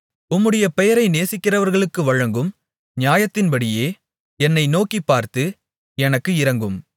உம்முடைய பெயரை நேசிக்கிறவர்களுக்கு வழங்கும் நியாயத்தின்படியே என்னை நோக்கிப்பார்த்து எனக்கு இரங்கும்